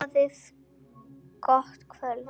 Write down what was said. Boðið gott kvöld.